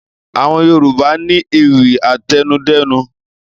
Àwọn Yorùbá ni ewì àtẹnudẹ́nu.